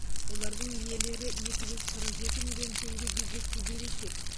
олардың иелері екі жүз қырық жеті миллион теңге бюджетке берешек